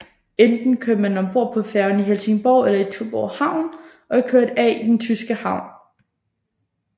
Enten kørte man om bord på færgen i Helsingborg eller i Tuborg Havn og kørte af i den tyske havn